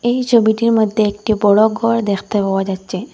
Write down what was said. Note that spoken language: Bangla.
এই ছবিটির মধ্যে একটি বড়ো ঘর দেখতে পাওয়া যাচ্চে ।